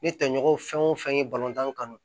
N ye tɔɲɔgɔnw fɛn o fɛn ye kanu